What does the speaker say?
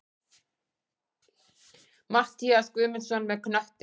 Matthías Guðmundsson með knöttinn.